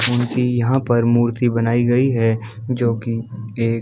उनकी यहाँ पर मूर्ति बनाई गई है जो की एक --